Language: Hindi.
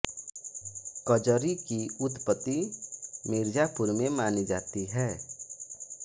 कजरी की उत्पत्ति मिर्जापुर में मानी जाती है